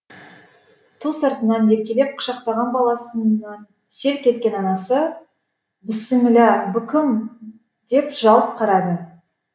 ту сыртынан еркелеп құшақтаған баласынан селк еткен атасы біссімілә бұ кім деп жалт қарады